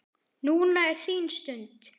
Núna er þín stund.